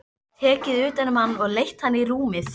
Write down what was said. Tekið utan um hann og leitt hann í rúmið.